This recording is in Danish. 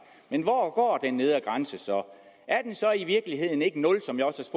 men hvor går den nedre grænse så er den så i virkeligheden ikke nul som jeg også